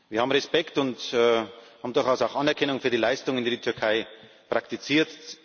Wir haben Respekt und durchaus auch Anerkennung für die Leistungen, die die Türkei praktiziert.